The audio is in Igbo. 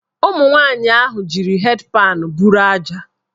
Ụmụnwanyị ahụ jiri hed panụ bụrụ aja.